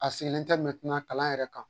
A sigilen tɛ kalan yɛrɛ kan.